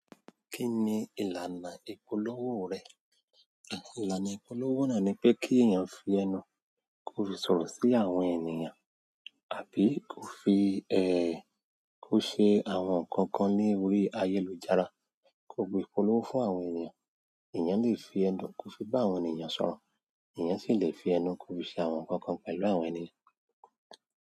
Kí ni ìlànà ìpolówó rẹ? Ìlànà ìpolówó náà ni pé kí èèyàn fi ẹnu kó fi sọ̀rọ̀ sí àwọn ènìyàn àbí kó fi kó ṣe àwọn nǹkan kan ní órí ayélujára, kó gbé ìpolówó fún àwọn ènìyàn. Èèyàn le fi ẹnu kó fi bá àwọn ènìyàn sọ̀rọ̀, ẹ̀yàn sì le fi ẹnu kó fi ṣe àwọn nǹkan kan pẹ̀lú àwọn ènìyàn.